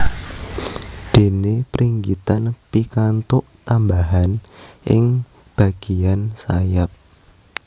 Déné Pringgitan pikantuk tambahan ing bagéyan sayap